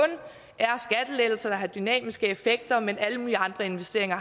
er har dynamiske effekter mens alle mulige andre investeringer